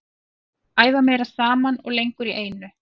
Æfa meira saman og lengur í einu.